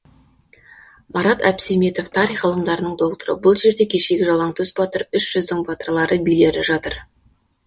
марат әбсеметов тарих ғылымдарының докторы бұл жерде кешегі жалаңтөс батыр үш жүздің батырлары билері жатыр